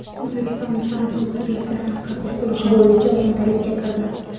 O‘zbekiston fransuz turistlarini qabul qilish bo‘yicha o‘ntalikka kirdi.